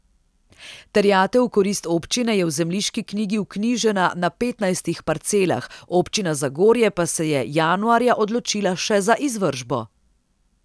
Terjatev v korist občine je v zemljiški knjigi vknjižena na petnajstih parcelah, občina Zagorje pa se je januarja odločila še za izvršbo.